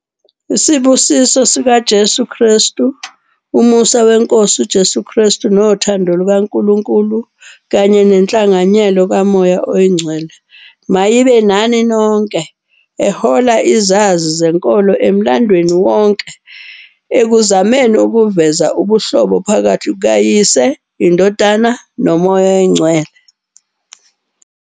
Isibusiso sikaJesu Kristu- "Umusa weNkosi uJesu Kristu nothando lukaNkulunkulu kanye nenhlanganyelo kaMoya oNgcwele mayibe nani nonke", ehola izazi zezenkolo emlandweni wonke ekuzameni ukuveza ubuhlobo phakathi kukaYise, iNdodana, noMoya oNgcwele.